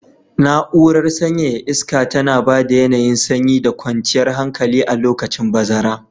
Na'urar sanyaya iska tana ba da yanayin sanyi da kwanciyar hankali a lokacin bazara.